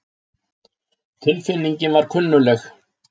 Tilfinningin var kunnugleg.